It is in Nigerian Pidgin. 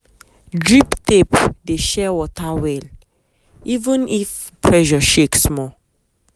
drip tape dey share water well even if pressure shake small.